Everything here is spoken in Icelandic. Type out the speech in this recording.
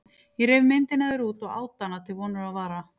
Ég reif myndina af þér út og át hana til vonar og vara.